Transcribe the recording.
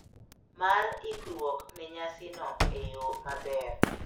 Mar ikruok ne nyasino e yo maber.